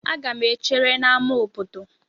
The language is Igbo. Aga m echere n'ámá obodo.